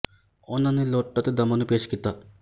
ਉਹਨਾਂ ਨੇ ਲੁੱਟ ਅਤੇ ਦਮਨ ਨੂੰ ਪੇਸ਼ ਕੀਤਾ ਹੈ